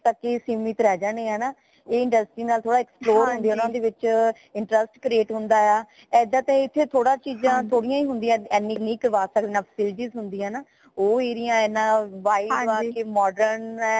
ਏਨੇ ਤਕ ਹੀ ਸੀਮਿਤ ਰਹ ਜਾਣੇ ਹੈ ਹੈ ਨਾ ਐ industry ਨਾਲ ਥੋੜਾ explore ਹੁੰਦੇ ਹੈ ਬੱਚੇ ਦਾ interest create ਹੁੰਦਾ ਹਾ ਏਦਾਂ ਤਾ ਇਥੇ ਥੋੜੀ ਚੀਜ਼ਾਂ ਨੀ ਹੁੰਦੀਆਂ ਏਨੀ ਹੀ ਕਰਵਾਂ ਸਕਦੇ ਉਹ area ਇਨਾ wide ਵਾ modern ਹੈ